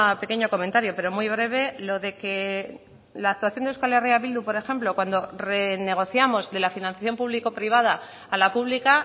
pequeño comentario pero muy breve lo de que la actuación de euskal herria bildu por ejemplo cuando renegociamos de la financiación público privada a la pública